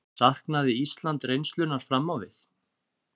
Saknaði Ísland reynslunnar fram á við?